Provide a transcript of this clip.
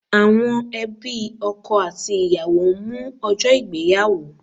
Àwọn ẹbí ọkọ àti ìyàwó ń mú ọjọ́ ìgbéyàwó